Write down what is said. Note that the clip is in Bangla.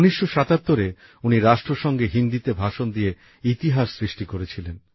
১৯৭৭এ উনি রাষ্ট্রসংঘে হিন্দিতে ভাষণ দিয়ে ইতিহাস সৃষ্টি করেছিলেন